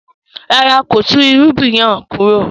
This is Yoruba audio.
No, he did not uproot the crop